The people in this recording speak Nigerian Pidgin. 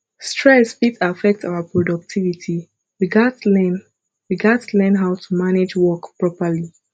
stress fit affect our productivity we gats learn we gats learn how to manage work properly